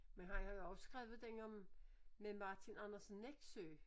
Men han har jo også skrevet den om med Martin Andersen Nexø